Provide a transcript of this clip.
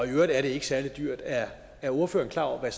øvrigt er det ikke særlig dyrt er er ordføreren klar over hvad